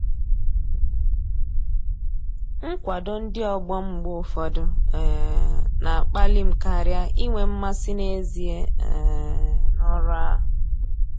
Nkwado ndị ọgbọ m mgbe ụfọdụ um na-akpali m karịa inwe mmasị n'ezie um n'ọrụ ahụ.